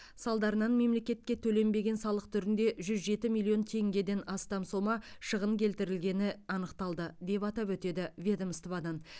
салдарынан мемлекетке төленбеген салық түрінде жүз жеті миллион теңгеден астам сома шығын келтірілгені анықталды деп атап өтеді ведомстводан